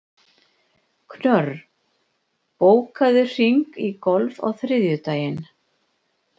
Knörr, bókaðu hring í golf á þriðjudaginn.